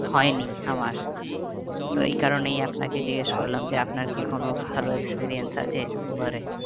হয়নি আমার তো এই কারণেই আপনাকে জিজ্ঞেস করলাম যে আপনার কি কোনো ভালো experience আছে উবার এ